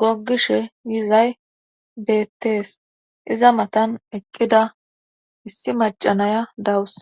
goggishe yizay beettees iza matan eqqida issi macanaya dawus